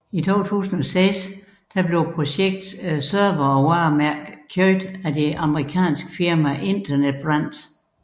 I 2006 blev projektets servere og varemærke købt af det amerikanske firma Internet Brands